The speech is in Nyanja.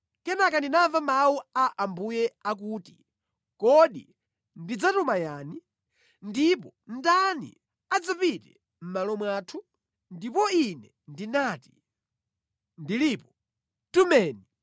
Kenaka ndinamva mawu a Ambuye akuti, “Kodi ndidzatuma yani? Ndipo ndani adzapite mʼmalo mwathu?” Ndipo ine ndinati, “Ndilipo. Tumeni!”